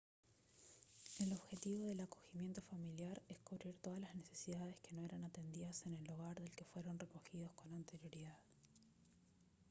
el objetivo del acogimiento familiar es cubrir todas las necesidades que no eran atendidas en el hogar del que fueron recogidos con anterioridad